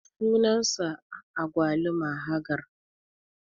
sunan sa agwaluma Haggar.